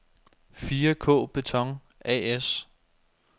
4K-Beton A/S